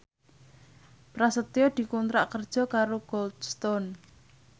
Prasetyo dikontrak kerja karo Cold Stone